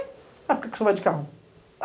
A por que você vai de carro?